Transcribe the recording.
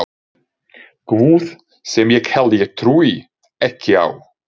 guð sem ég held ég trúi ekki á.